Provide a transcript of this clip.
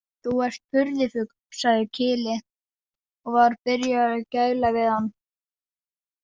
Þú ert furðufugl, sagði Kyle og var byrjaður að gæla við hann.